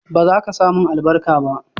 ba zaka samun albarka ba?